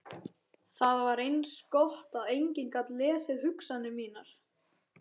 Það var eins gott að enginn gat lesið hugsanir mínar.